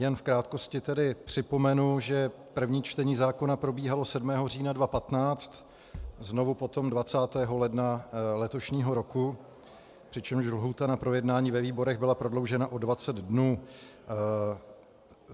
Jen v krátkosti tedy připomenu, že první čtení zákona probíhalo 7. října 2015, znovu potom 20. ledna letošního roku, přičemž lhůta na projednání ve výborech byla prodloužena o 20 dnů.